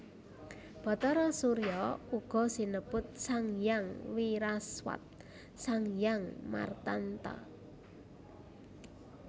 Bhatara Surya uga sinebut Sanghyang Wiraswat Sanghyang Martanta